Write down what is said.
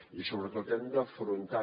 i sobretot hem d’afrontar